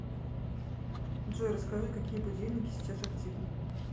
джой расскажи какие будильники сейчас активны